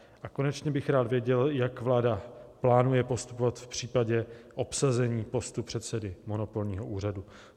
A konečně bych rád věděl, jak vláda plánuje postupovat v případě obsazení postu předsedy monopolního úřadu.